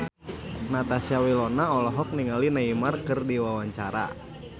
Natasha Wilona olohok ningali Neymar keur diwawancara